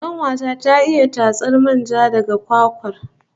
Kanuwa ta ta iya tatsar manja daga kwakwar